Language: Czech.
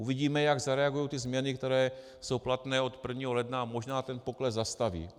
Uvidíme, jak zareagují ty změny, které jsou platné od 1. ledna a možná ten pokles zastaví.